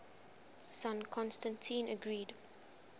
son constantine agreed